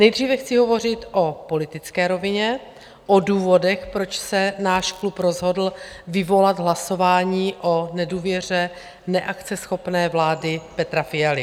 Nejdříve chci hovořit o politické rovině, o důvodech, proč se náš klub rozhodl vyvolat hlasování o nedůvěře neakceschopné vlády Petra Fialy.